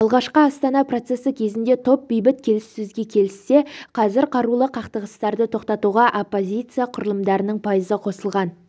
алғашқы астана процесі кезінде топ бейбіт келіссөзге келіссе қазір қарулы қақтығыстарды тоқтатуға оппозиция құрылымдарының пайызы қосылған